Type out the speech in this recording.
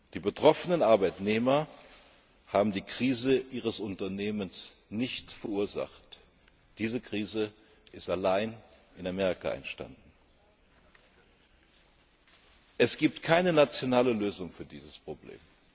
Die betroffenen Arbeitnehmer haben die Krise ihres Unternehmens nicht verursacht. Diese Krise ist allein in Amerika entstanden. Es gibt keine nationale Lösung für dieses Problem.